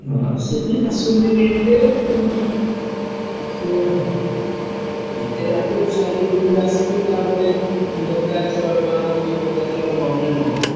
ହଁ ସେ ବି ଆସନ୍ତିନି ଏତେ ପୁଣି ସେ ଏତେ ବାଟରୁ ସାଇକେଲ ଧରିକି ଆସିବେ ତା'ପରେ ଦରକାର ଶହେ ଟଙ୍କା କି ପଚାଶ ଟଙ୍କା ନହେଲେ ନ ହବ।